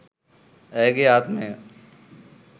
ඇයගේ ආත්මය